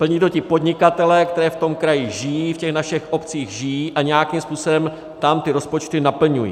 Plní to ti podnikatelé, kteří v tom kraji žijí, v těch našich obcích žijí a nějakým způsobem tam ty rozpočty naplňují.